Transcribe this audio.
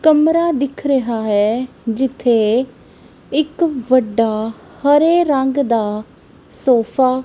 ਕਮਰਾ ਦਿਖ ਰਿਹਾ ਹੈ ਜਿੱਥੇ ਇੱਕ ਵੱਡਾ ਹਰੇ ਰੰਗ ਦਾ ਸੋਫਾ --